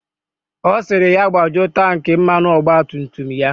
Ọ sịrị ya gbajuo tanki mmanụ ọgba tum tum ya.